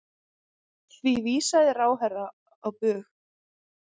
Því vísaði ráðherra á bug.